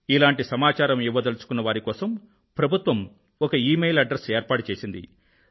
ఇలాంటి సమాచారం ఇవ్వదలుచుకున్నవారి కోసం ప్రభుత్వం ఒక ఇమెయిల్ అడ్రస్ ఏర్పాటు చేసింది